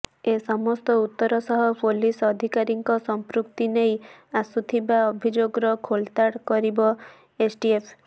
ଏ ସମସ୍ତ ଉତ୍ତର ସହ ପୁଲିସ ଅଧିକାରୀଙ୍କ ସମ୍ପୃକ୍ତି ନେଇ ଆସୁଥିବା ଅଭିଯୋଗର ଖୋଳତାଡ଼ କରିବ ଏସ୍ଟିଏଫ୍